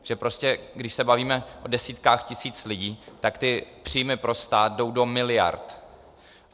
Takže prostě když se bavíme o desítkách tisíc lidí, tak ty příjmy pro stát jdou do miliard.